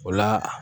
O la